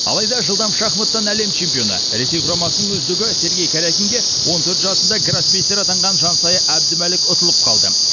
алайда жылдам шахматтан әлем чемпионы ресей құрамасының үздігі сергей карякинге он төрт жасында гроссмейстер атанған жансая әбдімәлік ұтылып қалды